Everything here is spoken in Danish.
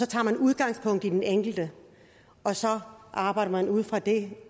tager udgangspunkt i den enkelte og så arbejder man ud fra det